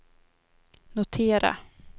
notera